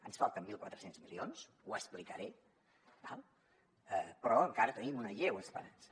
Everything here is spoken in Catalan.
ens en falten mil quatre cents milions ho explicaré d’acord però encara tenim una lleu esperança